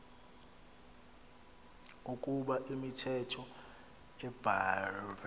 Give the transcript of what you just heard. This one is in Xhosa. ukoba imithetho ebhahve